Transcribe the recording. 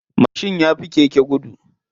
Mashin yafi keke gudu.